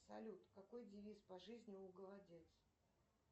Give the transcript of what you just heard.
салют какой девиз по жизни у голодец